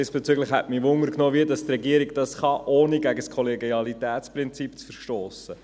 Diesbezüglich nimmt mich wunder, wie die Regierung dies tun kann, ohne gegen das Kollegialitätsprinzip zu verstossen.